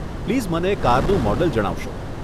Please મને કારનું model જણાવશો.